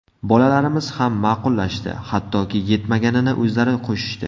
Bolalarimiz ham ma’qullashdi, hattoki yetmaganini o‘zlari qo‘shishdi.